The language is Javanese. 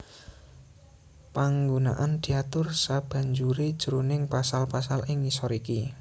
Panggunaan diatur sabanjuré jroning pasal pasal ing ngisor iki